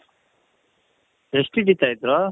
ಎಷ್ಟ್ ಹಿಡೀತಾ ಇದ್ರು ?